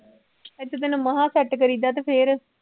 ਇੱਥੇ ਤੈਨੂੰ ਮਸਾਂ set ਕਰੀਦਾ ਤੇ ਫਿਰ